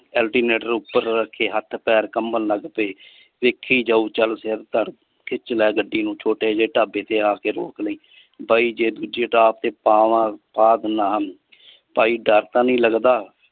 alternator ਉਪਰ ਰੱਖੇ ਹੱਥ ਪੈਰ ਕੰਬਣ ਲੱਗ ਪੈ ਵੇਖੀ ਜਾਉ ਚਲ ਸਿਰ ਧੜ ਖਿੱਚ ਲੈ ਗੱਡੀ ਨੂੰ ਛੋਟੇ ਜੇ ਢਾਬੇ ਤੇ ਆਕੇ ਰੋਕ ਲਈ ਬਾਈ ਜੇ ਦੂਜੇ ਟਾਪ ਪਾਵਾਂ ਪਾ ਦੀਨਾ ਹਾਂ ਭਾਈ ਡਰ ਤਾਂ ਨੀ ਲਗਦਾ।